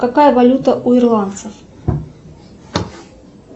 какая валюта у ирландцев